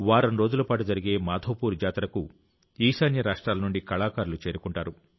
వారం రోజుల పాటు జరిగే మాధవపూర్ జాతరకు ఈశాన్య రాష్ట్రాల నుండి కళాకారులు చేరుకుంటారు